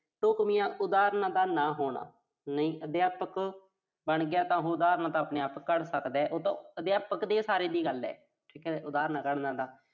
ਢੁੱਕਵੀਆਂ ਉਦਾਹਰਨਾਂ ਦਾ ਨਾ ਹੋਣਾ। ਨਹੀਂ, ਅਧਿਆਪਕ ਬਣ ਗਿਆ ਤਾਂ ਉਹੋ ਉਦਾਹਰਨ ਤਾਂ ਆਪਣੇ ਆਪ ਘੜ ਸਕਦਾ। ਇਹ ਤਾਂ ਅਧਿਆਪਕ ਦੇ ਸਾਰੇ ਦੀ ਗੱਲ ਆ। ਠੀਕ ਆ। ਉਦਾਹਰਨਾਂ ਘੜਨਾ ਤਾਂ।